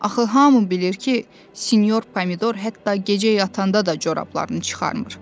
"Axı hamı bilir ki, sinyor Pomidor hətta gecə yatanda da corablarını çıxarmır".